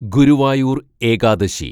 Guruvayur‍ Ekadashi